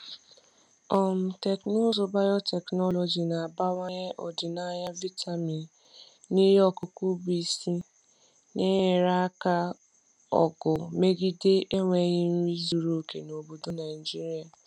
um Teknụzụ Teknụzụ biotechnology na-abawanye ọdịnaya vitamin n’ihe ọkụkụ bụ isi, na-enyere aka ọgụ megide enweghị nri zuru oke n’obodo Naijiria. um